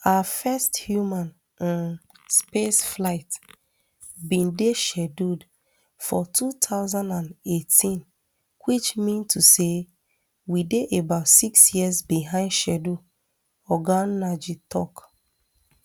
our first human um space flight bin dey scheduled for two thousand and eighteen which mean to say we dey about six years behind schedule oga nnaji tok